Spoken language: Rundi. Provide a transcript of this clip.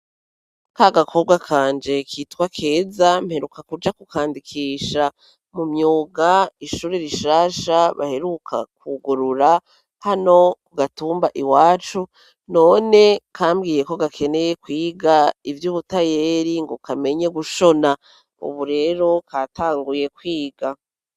Kagakobwa kanje kitwa keza, mperuka kuja kukandikisha mu myuga, ishure rishasha baheruka kwugurura hano ku gatumba iwacu, none kambwiye ko gakeneye kwiga ivy'ubutayeri, ngo kamenye gushona; ubu rero katanguye kwiga.